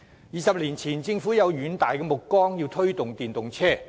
二十年前，政府有遠大目光，表示要推動電動車。